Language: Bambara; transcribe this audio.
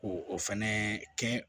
Ko o fɛnɛ kɛ